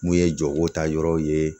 Mun ye jɔgo ta yɔrɔw ye